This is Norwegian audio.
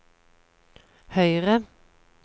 høyre